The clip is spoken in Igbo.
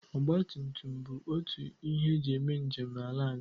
Ọgba tutum bụ otu n'ihe eji eme njem n'ala anyị.